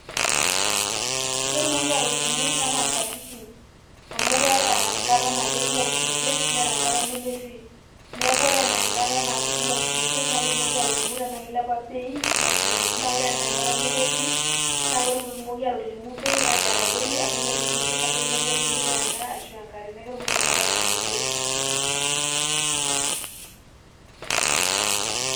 Ketumoki aatolimu anaa nkatitin amu keeta enkata naa kekumok isinkir neeta enkata nemetii ,ore ene enkata naa kumok isinkir naa ketumoki atolimu tenaa kilepa bei oosinkir naa ore enaa enkata nemetii naa ketumoki aatolimu bei ajo etadoyie amu metii isinkir ebaiki nemetumito endaa ashwaa enkare neku ketumoki inakata aatolimu bei .